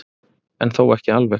En þó ekki alveg.